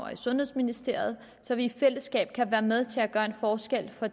og i sundhedsministeriet så vi i fællesskab kan være med til at gøre en forskel for